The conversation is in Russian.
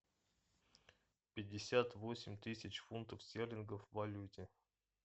пятьдесят восемь тысяч фунтов стерлингов в валюте